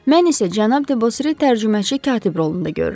Mən isə cənab Debosri tərcüməçi katib rolunda görürəm.